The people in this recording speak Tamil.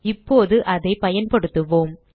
இப்போது அதைப் பயன்படுத்துவோம்